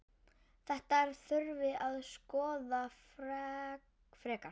Þetta þurfi að skoða frekar.